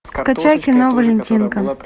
скачай кино валентинка